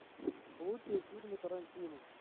лучшие фильмы тарантино